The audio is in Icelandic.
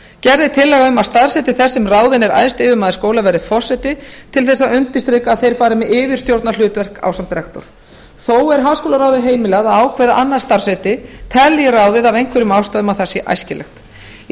gerð er tillaga um að starfsheiti þess sem ráðinn er æðsti yfirmaður skóla verði forseti til þess að undirstrika að þeir fari með yfirstjórnarhlutverk ásamt rektor þó er háskólaráði heimilað að ákveða annað starfsheiti telji ráðið af einhverjum ástæðum að það sé æskilegt í